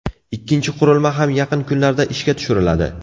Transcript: Ikkinchi qurilma ham yaqin kunlarda ishga tushiriladi.